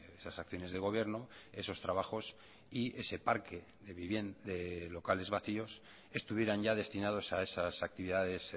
esas acciones de gobierno esos trabajos y ese parque de locales vacíos estuvieran ya destinados a esas actividades